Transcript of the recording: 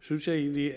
synes jeg egentlig